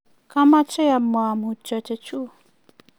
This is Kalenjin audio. kamache amwa mutyo chechuk